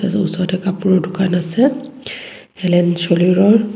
ওচৰতে কাপোৰৰ দোকান আছে এলেন চলে ৰৰ